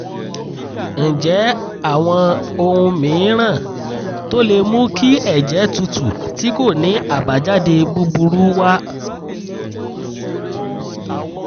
ǹjẹ́ àwọn ohun mìíràn tó lè mú kí ẹ̀jẹ̀ tútù tí kò ní àbájáde búburú wà?